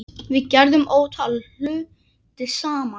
Við gerðum ótal hluti saman.